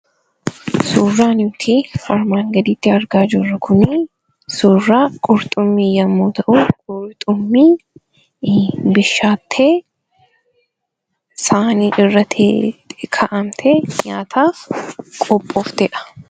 Suuraan armaan gaditti argaa jirru kunii, suuraa qurxummii yemmuu ta'u; qurxummii bishaatte, saayiini irraa kaa'amtee, nyaataaf qophooftedha.